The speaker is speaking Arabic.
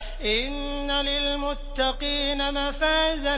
إِنَّ لِلْمُتَّقِينَ مَفَازًا